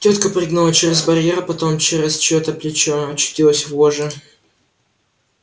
тётка прыгнула через барьер потом через чьё-то плечо очутилась в ложе